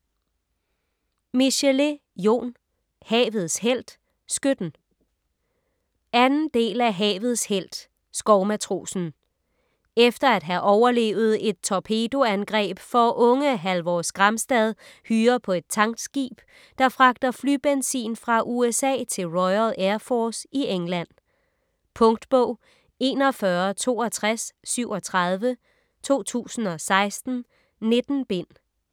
Michelet, Jon: Havets helt - skytten 2. del af Havets helt - skovmatrosen. Efter at have overlevet et torpedoangreb får unge Halvor Skramstad hyre på et tankskib, der fragter flybenzin fra USA til Royal Air Force i England. Punktbog 416237 2016. 19 bind.